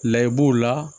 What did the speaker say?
Layi b'o la